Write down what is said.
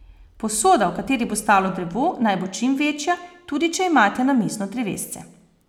Posoda, v kateri bo stalo drevo, naj bo čim večja, tudi če imate namizno drevesce.